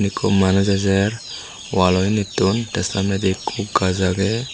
ikko manuj ejer walloindittun tey samnendi ikko gaaj agey.